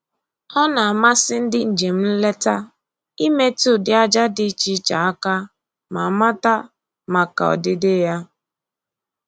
Ọ na-amasị ndị njem nleta imetụ ụdị aja dị iche iche aka ma mata maka ọdịdị ha